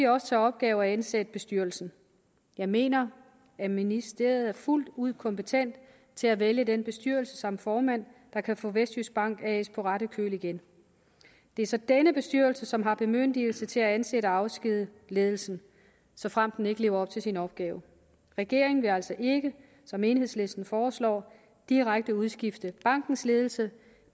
også til opgave at ansætte bestyrelsen jeg mener at ministeriet fuldt ud er kompetent til at vælge den bestyrelse samt formand der kan få vestjyskbank på ret køl igen det er så denne bestyrelse som har bemyndigelse til at ansætte og afskedige ledelsen såfremt denne ikke lever op til sin opgave regeringen vil altså ikke som enhedslisten foreslår direkte udskifte bankens ledelse